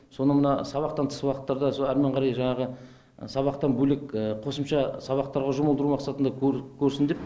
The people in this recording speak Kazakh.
содан мына сабақтан тыс уақыттарда әрмен қарай жаңағы сабақтан бөлек қосымша сабақтарға жұмылдыру мақсатында көрсін деп